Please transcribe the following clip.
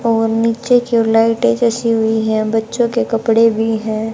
और नीचे क्यू लाइटे जैसी हुई है बच्चो के कपड़े भी है।